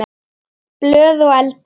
Blöð og eldur.